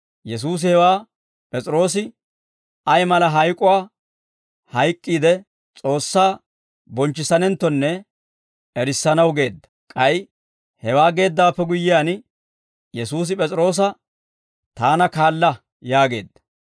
Yesuusi hewaa P'es'iroose ay mala hayk'uwaa hayk'k'iide, S'oossaa bonchchissanenttonne erissanaw geedda; k'ay hewaa geeddawaappe guyyiyaan, Yesuusi P'es'iroosa, «Taana kaala» yaageedda.